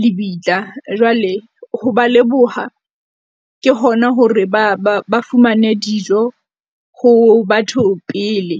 lebitla. Jwale ho ba leboha, ke hona hore ba fumane dijo ho batho pele.